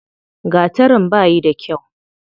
Gatarin bayi da kyau.